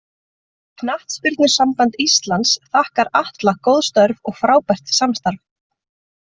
Knattspyrnusamband Íslands þakkar Atla góð störf og frábært samstarf.